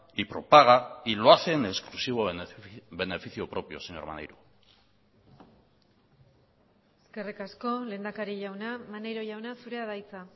y propaga y lo hace en exclusivo en beneficio propio señor maneiro eskerrik asko lehendakari jauna maneiro jauna zurea da hitza